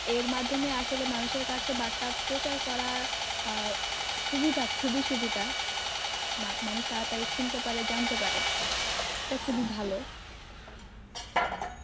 এর মাধ্যমে আসলে মানুষের কাছে বার্তা প্রচার করার আহ সুবিধা খুবই সুবিধা মা~ মানুষ তাড়াতাড়ি শুনতে পারে জানতে পারে এটা খুবই ভালো